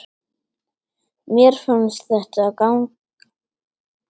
Mér fannst þetta ganga vel.